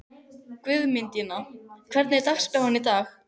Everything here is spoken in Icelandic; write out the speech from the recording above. Guðmundína, hvernig er dagskráin í dag?